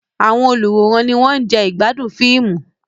Àwọn olùwòran ni wọ́n ń jẹ ìgbádùn fíìmù.